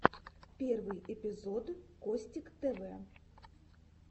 первый эпизод костиктв